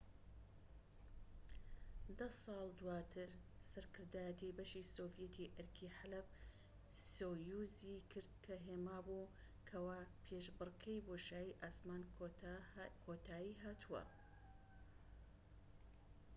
دە ساڵ دواتر سەرکردایەتی بەشی سۆڤیەتی ئەرکی حەلەب-سۆیوزی کرد کە هێما بوو کەوا پێشبڕکێی بۆشایی ئاسمان کۆتای هاتووە